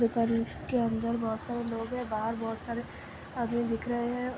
दुकान के अंदर बहोत सारे लोग हैं। बाहर बहोत सारे आदमी दिख रहे हैं।